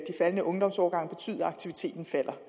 faldende ungdomsårgange betyde at aktiviteten falder